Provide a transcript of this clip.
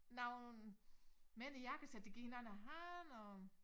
Nogen mænd i jakkesæt der giver hinanden æ hånd og